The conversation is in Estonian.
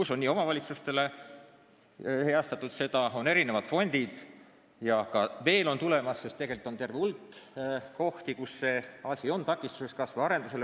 Seda on omavalitsustele heastatud, on olemas mitmed fondid ja neid on veel tulemas, sest tegelikult on terve hulk kohti, kus selline asi takistab kas või kinnisvaraarendust.